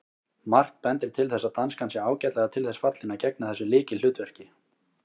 Margt bendir til þess að danskan sé ágætlega til þess fallin að gegna þessu lykilhlutverki.